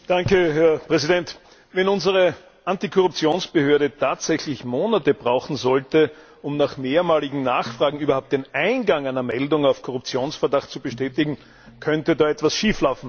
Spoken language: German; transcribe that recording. Herr Präsident! Wenn unsere Antikorruptionsbehörde tatsächlich Monate brauchen sollte, um nach mehrmaligem Nachfragen überhaupt den Eingang einer Meldung auf Korruptionsverdacht zu bestätigen, könnte da etwas schieflaufen.